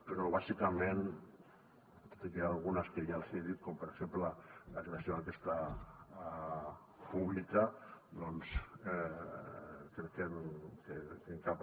però bàsicament tot i que n’hi ha algunes que ja els hi he dit com per exemple la creació d’aquesta pública doncs crec que en cap